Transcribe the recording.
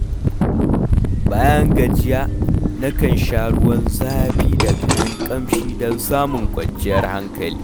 Bayan gajiya, nakan sha ruwan zafi da kayan kamshi don samun kwanciyar hankali.